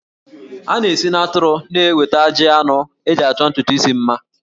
A na-esi n'atụrụ na-enweta ajị anụ eji achọ ntutu isi mma